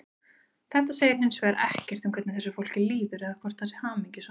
Þetta segir hins vegar ekkert um hvernig þessu fólki líður eða hvort það sé hamingjusamt.